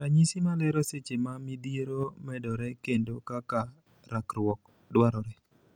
Ranyisi malero seche ma midhiero medore kendo kaka rakruok dwarore.